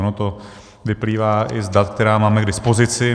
Ono to vyplývá i z dat, která máme k dispozici.